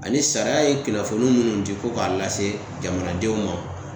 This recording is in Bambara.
Ani sariya ye kunnafoni minnu di ko k'a lase jamanadenw ma